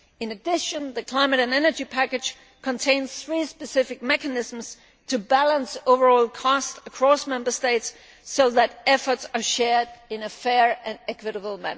In addition, the climate and energy package contains three specific mechanisms to balance overall costs across Member States, so that efforts are shared in a fair and equitable